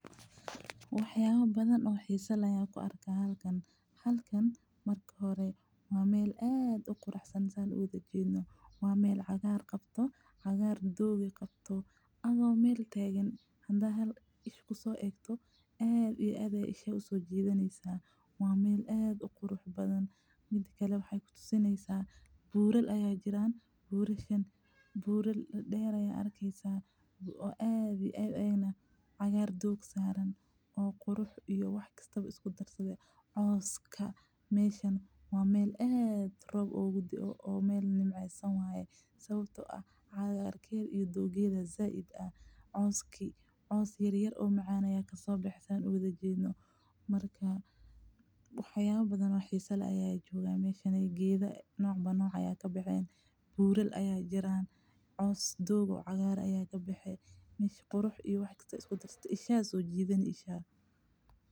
Wax yaaba badan ayaan ku arkaay meeshan halkan waa meel cagaar qabto oo doog leh waa meel aad uqurux badan mida kale buurar ayaa jiraan oo dear oo coos qabaan meeshan waa meel aad roob oogu dae oo nimceesan coos yaryar oo cagaaran ayaa kabaxay meeshan qurux iyo wax walbo ayeey isku darsate indaha ayeey soo jiidani.